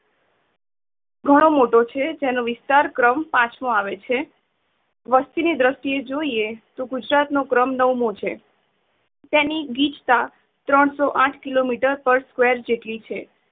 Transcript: ઘણો મોટો છે જેનો વિસ્તાર ક્ર્મ પાંચ મોં આવે છે. વસ્તી ની દ્રષ્ટિ એ જોઈએ તો ગુજરાત નો ક્રમ નવ મોં છે. તેની ગીચતા ત્રણ સો આઠ કિલોમીટર પર square જેટલી છે.